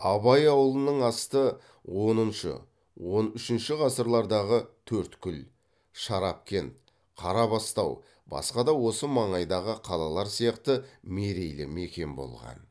абай ауылының асты оныншы он үшінші ғасырлардағы төрткүл шарапкент қарабастау басқа да осы маңайдағы қалалар сияқты мерейлі мекен болған